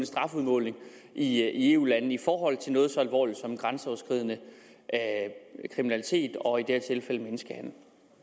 strafudmåling i eu landene i forhold til noget så alvorligt som grænseoverskridende kriminalitet og i det her tilfælde menneskehandel